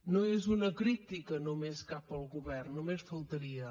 no és una crítica només cap al govern només faltaria